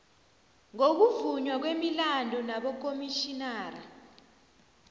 ngokuvunywa kwemilandu nabokomitjhinara